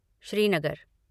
Srinagar